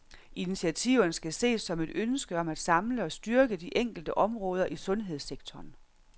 Initiativerne skal ses som et ønske om at samle og styrke de enkelte områder i sundhedssektoren.